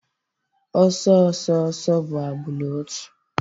Ọsọ ọsọ ọsọ bụ agbụrụ otu